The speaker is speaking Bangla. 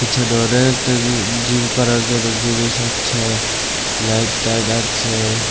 পিছনে অনেকটা জি-জিম করার জন্য জিনিস আছে লাইট টাইট আছে।